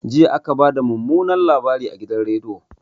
Jiya aka bada mumunan labari a gidan rediyo